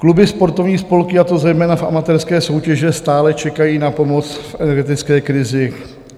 Kluby, sportovní spolky, a to zejména v amatérské soutěži, stále čekají na pomoc v energetické krizi.